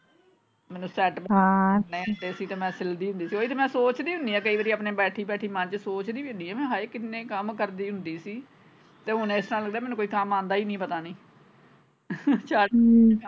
ਮੈਨੂੰ set ਹਾਂ ਸੀ ਤੇ ਮੈਂ ਸਿਲਦੀ ਹੁੰਦੀ ਸੀ ਓਹੀ ਮੈਂ ਸੋਚਦੀ ਹੁਨੀ ਆ ਕਈ ਵਾਰ ਬੈਠੀ ਬੈਠੀ ਆਪਣੇ ਮੰਨ ਚ ਸੋਚਦੀ ਵੀ ਹੁਨੀ ਆ ਹਾਏ ਕਿੰਨੇ ਕੰਮ ਕਰਦੀ ਹੁੰਦੀ ਸੀ ਤੇ ਹੁਣ ਇਸਤਰਾਂ ਲਗਦਾ ਮੈਨੂੰ ਕੋਈ ਕੰਮ ਆਉਂਦਾ ਈ ਨਹੀਂ ਪਤਾ ਨਹੀਂ